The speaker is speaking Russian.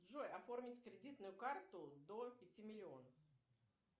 джой оформить кредитную карту до пяти миллионов